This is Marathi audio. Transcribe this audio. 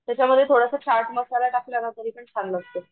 त्याच्यामध्ये थोडासा चाट मसाला टाकला ना तरी पण छान लागतो.